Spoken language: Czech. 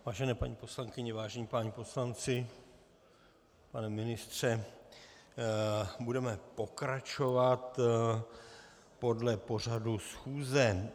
Vážené paní poslankyně, vážení páni poslanci, pane ministře, budeme pokračovat podle pořadu schůze.